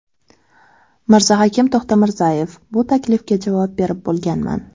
Mirzahakim To‘xtamirzayev: Bu taklifga javob berib bo‘lganman.